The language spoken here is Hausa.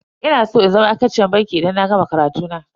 Ina san in zama ma'aikaciyar banki idan na gama karatu na.